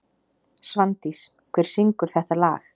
Svandís, hver syngur þetta lag?